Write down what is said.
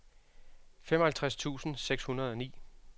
femoghalvtreds tusind seks hundrede og ni